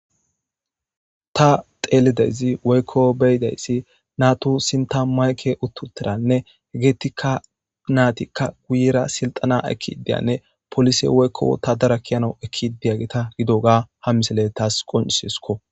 Ta xelidays woy beyidays natu sinthan maykey (mic) eqi utidaysanne natika guyera siltena ekidiyane police woyko wotadara ke'anaw Ekid diyageta gidoga ha misiley tas qoncisanasko.